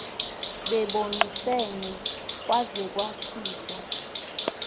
bebonisene kwaze kwafikwa